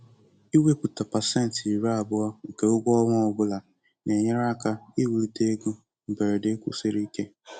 Ịwepụta pasentị iri abụọ nke ụgwọ ọnwa ọ bụla na-enyere aka iwulite ego mberede kwụsiri ike.